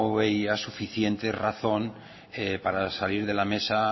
veía suficiente razón para salir de la mesa